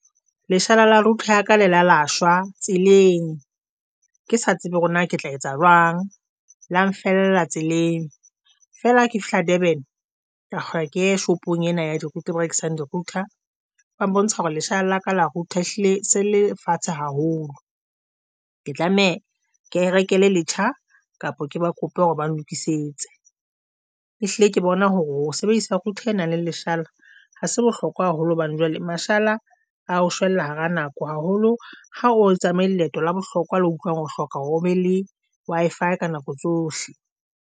Leshala la router ya ka le la shwa tseleng, ke sa tsebe hore na ke tla etsa jwang la nfella tseleng fela ha ke fihla Durban. Ka re ke ye shopong ena ya di-router e rekisang di-router ba mbontsa hore leshala la ka la router hlile se le fatshe haholo, ke tlameha ke rekele letjha kapa ke ba kope hore ba lokisetse. E hlile ke bona hore ho sebedisa sa router e nang le leshala. Ha se bohlokwa haholo hobane jwale mashala a o shwella hara nako haholo ha o tsamaye leeto la bohlokwa le utlwang ho hloka hore o be le Wi-Fi ka nako tsohle.